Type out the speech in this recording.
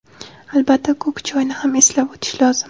Albatta, ko‘k choyni ham eslab o‘tish lozim.